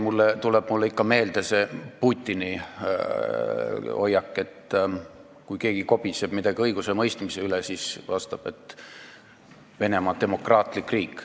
Veel tuleb mulle ikka meelde see Putini hoiak, et kui keegi kobiseb midagi õigusemõistmise üle, siis ta vastab, et Venemaa on demokraatlik riik.